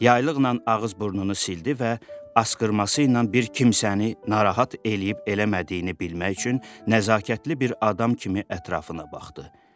Yaylıqla ağız-burnunu sildi və asqırmasıyla bir kimsəni narahat eləyib eləmədiyini bilmək üçün nəzakətli bir adam kimi ətrafına baxdı.